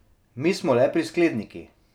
Mi smo le priskledniki.